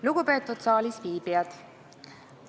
Lugupeetud saalisviibijad!